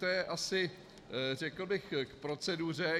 To je asi, řekl bych, k proceduře.